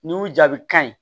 N'i y'u jaabi kan